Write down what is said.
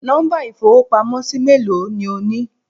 Nọ́mbà ìfowópamósí méèló ni o ní